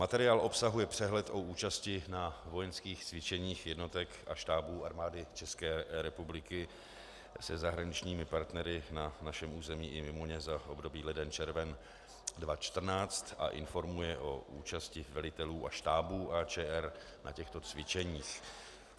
Materiál obsahuje přehled o účasti na vojenských cvičeních jednotek a štábů Armády České republiky se zahraničními partnery na našem území i mimo ně za období leden - červen 2014 a informuje o účasti velitelů a štábů AČR na těchto cvičeních.